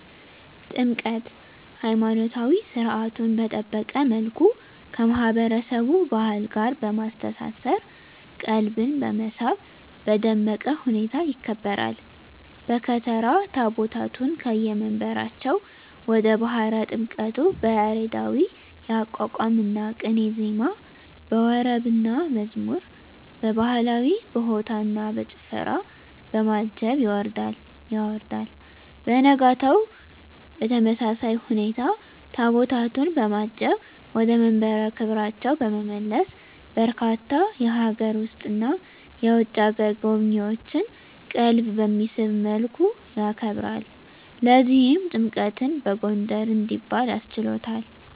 ጥምቀት!! ሀይማኖታዊ ሰርዓቱን በጠበቀ መልኩ ከማህበረሰቡ ባህል ጋር በማስተሳሰር ቀልብን በመሳብ በደመቀ ሁኔታ ይከበራል። በከተራ ታቦታቱን ከየመንበራቸው ወደ ባህረ ጥምቀቱ በያሬዳዊ የአቋቋምና ቅኔ ዜማ፣ በወረብና መዝሙር፣ በባህላዊ በሆታና በጭፈራ፣ በማጀብ ያወርዳል። በነጋታው በተመሳሳይ ሁኔታ ታቦታቱን በማጀብ ወደ መንበረ ክብራቸው በመመለስ በርካታ የሀገር ውስጥና የውጭ አገር ጎብኚዎችን ቀልብ በሚስብ መልኩ ያከብራል። ለዚህም ጥምቀትን በጎንደር እንዲባል አስችሎታል!!